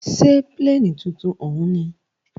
Ṣé pílènì tuntun òún ní?